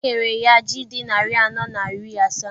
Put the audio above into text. E nyere ya ji dị narị anọ na iri asaa.